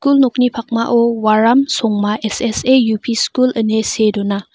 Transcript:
nokni pakmao waram songma S_S_A U_P skul ine see dona.